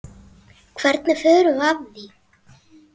Hvernig förum við að því?